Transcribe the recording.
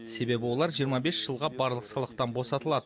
себебі олар жиырма бес жылға барлық салықтан босатылады